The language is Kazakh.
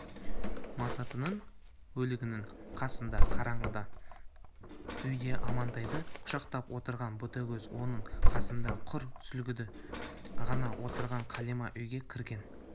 масатының өлігінің қасында қараңғы үйде амантайды құшақтап отырған ботагөз оның қасында құр сүлдесі ғана отырған қалима үйге кірген